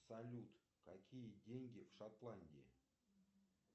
салют какие деньги в шотландии